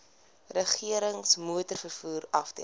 regerings motorvervoer afdeling